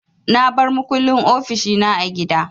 Na bar makullin ofishi na a gida.